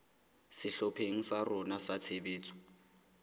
sehlopheng sa rona sa tshebetso